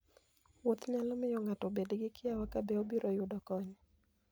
Wuoth nyalo miyo ng'ato obed gi kiawa kabe obiro yudo kony.